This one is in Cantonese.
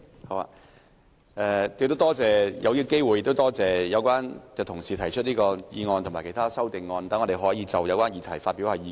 我要趁此機會感謝有關的同事提出議案及修正案，讓我們可以就有關議題發表意見。